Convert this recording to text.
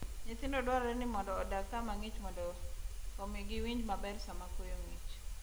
Nyithindo dwarore ni odag kama ng'ich mondo omi giwinj maber sama koyo ng'ich.